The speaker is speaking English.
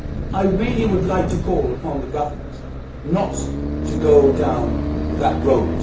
I would like to call upon the Government not to go down that road.